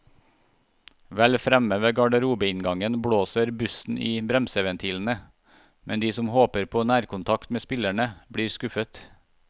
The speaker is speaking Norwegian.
Vel fremme ved garderobeinngangen blåser bussen i bremseventilene, men de som håper på nærkontakt med spillerne, blir skuffet.